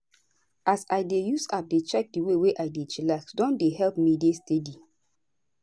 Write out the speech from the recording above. as i dey use app dey check di way wey i take dey chillax don dey help me dey steady.